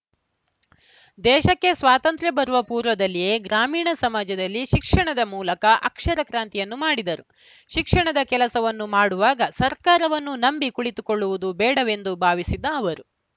ದೇಶಕ್ಕೆ ಸ್ವಾತಂತ್ರ್ಯ ಬರುವ ಪೂರ್ವದಲ್ಲಿಯೇ ಗ್ರಾಮೀಣ ಸಮಾಜದಲ್ಲಿ ಶಿಕ್ಷಣದ ಮೂಲಕ ಅಕ್ಷರ ಕ್ರಾಂತಿಯನ್ನು ಮಾಡಿದರು ಶಿಕ್ಷಣದ ಕೆಲಸವನ್ನು ಮಾಡುವಾಗ ಸರ್ಕಾರವನ್ನು ನಂಬಿ ಕುಳಿತುಕೊಳ್ಳುವುದು ಬೇಡವೆಂದು ಭಾವಿಸಿದ್ದ ಅವರು